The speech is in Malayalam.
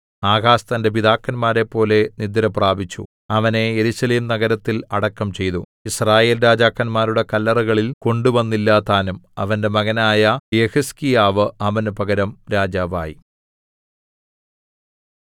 ആഹാസ് തന്റെ പിതാക്കന്മാരെപ്പോലെ നിദ്രപ്രാപിച്ചു അവനെ യെരൂശലേം നഗരത്തിൽ അടക്കം ചെയ്തു യിസ്രായേൽ രാജാക്കന്മാരുടെ കല്ലറകളിൽ കൊണ്ടുവന്നില്ലതാനും അവന്റെ മകനായ യെഹിസ്കീയാവ് അവന് പകരം രാജാവായി